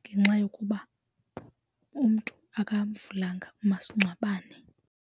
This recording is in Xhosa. ngenxa yokuba umntu akanamvulanga umasingcwabane.